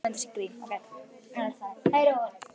Hún finnur þessa kúlu aldrei aftur.